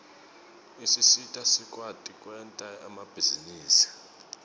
usisita sikwati kwenta emabhizinisi